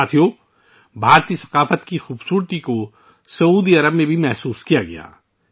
ساتھیو، بھارتی ثقافت کا حسن سعودی عرب میں بھی محسوس کیا جاتا ہے